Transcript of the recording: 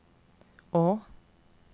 å